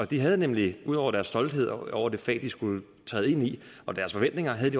de havde nemlig ud over deres stolthed over det fag de skulle træde ind i og deres forventninger